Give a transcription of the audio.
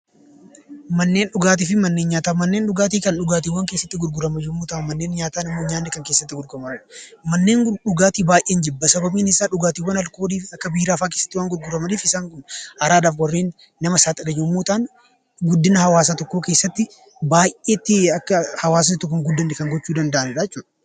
Manneen dhugaatii fi manneen nyaataa Manneen dhugaatii Kan dhugaatiiwwan keessatti gurguraman yemmuu ta'an, Manneen nyaataa immoo nyaanni Kan keessatti gurguramanidha. Manneen dhugaatii baay'een jibba. sababni isaa dhugaatii aalkoolii Akka biiraa waan keessatti gurguramaniif isaan kun araadaaf warreen nama saaxilan yemmuu ta'an guddina hawwaasa tokkoo keessatti baay'eetti Akka hawwaasni hin guddanne Kan gochuu danda'anidhaa jechuudha.